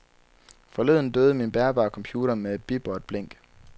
Forleden døde min bærbare computer med et bip og et blink.